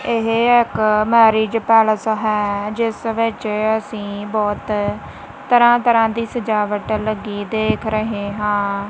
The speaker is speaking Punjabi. ਇਹ ਇੱਕ ਮੈਰਿਜ ਪੈਲੇਸ ਹੈ ਜਿੱਸ ਵਿੱਚ ਅੱਸੀ ਬਹੁਤ ਤਰ੍ਹਾਂ ਤਰ੍ਹਾਂ ਦੀ ਸਜਾਵਟ ਲੱਗੀ ਦੇਖ ਰਹੇ ਹਾਂ।